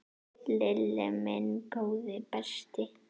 Lilli minn, góði besti.